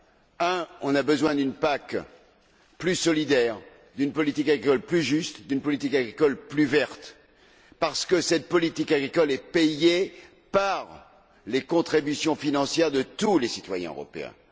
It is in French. D'abord, nous avons besoin d'une PAC plus solidaire, d'une politique agricole plus juste, d'une politique agricole plus verte, parce que cette politique agricole est payée par les contributions financières de tous les citoyens européens.